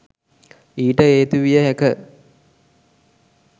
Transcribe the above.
ඊට හේතු විය හැක